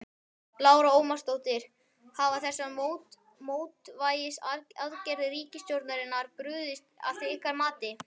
Lára Ómarsdóttir: Hafa þessar mótvægisaðgerðir ríkisstjórnarinnar brugðist að ykkar mati?